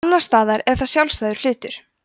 annars staðar er það sjálfsagður hlutur